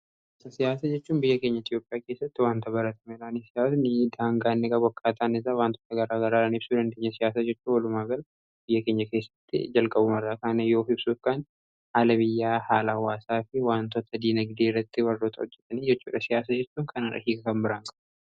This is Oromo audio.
asa siyaasa jechuun biyya keenya etiyopiyaa keessatti wanta barata meelaanii siyaat ni daangaanniga bokkaataan isa waantoota garaa garaara hibsuu rindeenya siyaasa jechuu olumaa gala biyya keenya keessatti jalqabumarraa kaana yoo hibsuufkaan haalabiyyaa haala waasaa fi wantoota diina gidee rratti barroota ojjatanii siyaasa jeuun kanaara hiiga kan biraan kab